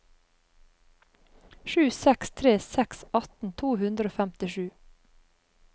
sju seks tre seks atten to hundre og femtisju